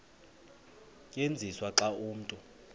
tyenziswa xa umntu